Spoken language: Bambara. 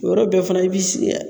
O yɔrɔ bɛɛ fana i b'i sin gi